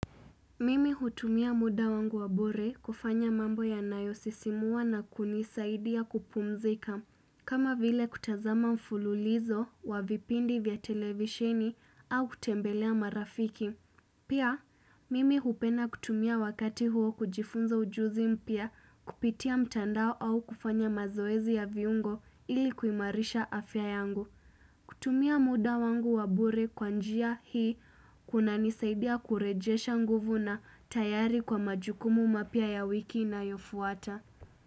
Mimi hutumia muda wangu wa bure kufanya mambo yanayosisimua na kunisaidia kupumzika kama vile kutazama mfululizo wa vipindi vya televisheni au kutembelea marafiki Pia, mimi hupenda kutumia wakati huo kujifunza ujuzi mpya kupitia mtandao au kufanya mazoezi ya viungo ili kuimarisha afya yangu kutumia muda wangu wa bure kwa njia hii kunanisaidia kurejesha nguvu na tayari kwa majukumu mapya ya wiki inayofuata.